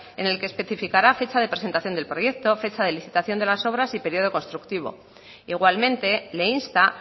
en el que especificará fecha de presentación del proyecto fecha de licitación de las obras y periodo constructivo igualmente le insta